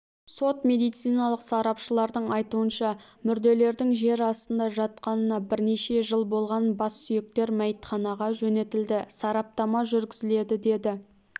сот-медициналық сарапшылардың айтуынша мүрделердің жер астында жатқанына бірнеше жыл болған бас сүйектер мәйітханаға жөнелтілді сараптама жүргізіледі деді